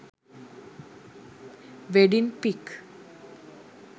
wedding pic